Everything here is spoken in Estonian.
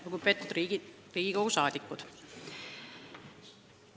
Lugupeetud Riigikogu liikmed!